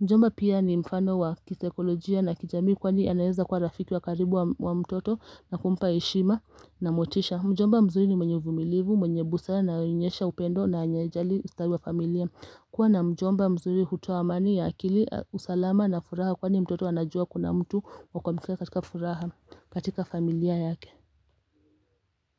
Mjomba pia ni mfano wa kisaikolojia na kijamii kwani anaweza kuwa rafiki wa karibu wa mtoto na kumpa heshima na motisha. Mjomba mzuri ni mwenye uvumilivu, mwenye busara na anayeonyesha upendo na hajali ustawi wa familia kuwa na mjomba mzuri hutoa amani ya akili, usalama na furaha kwani mtoto anajua kuna mtu wa kuamkua katika furaha katika familia yake.